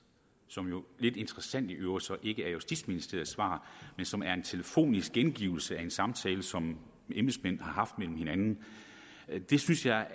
som jo lidt interessant i øvrigt så ikke er justitsministeriets svar men som er en telefonisk gengivelse af en samtale som embedsmænd har haft med hinanden synes jeg